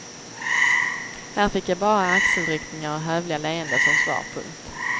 Här fick jag bara axelryckningar och hövliga leenden som svar. punkt